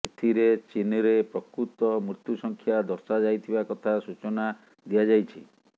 ଏଥିରେ ଚୀନ୍ରେ ପ୍ରକୃତ ମୃତ୍ୟୁ ସଂଖ୍ୟା ଦର୍ଶାଇଯାଇଥିବା କଥା ସୂଚନା ଦିଆଯାଇଛି